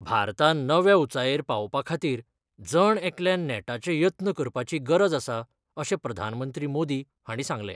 भारतान नव्या उंचायेर पावोवपा खातीर जण एकल्यान नेटाचे यत्न करपाची गरज आसा अशें प्रधानमंत्री मोदी हांणी सांगलें.